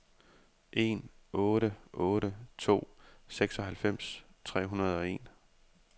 en otte otte to seksoghalvfems tre hundrede og en